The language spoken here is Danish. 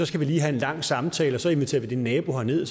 skal lige have en lang samtale og så inviterer vi din nabo herned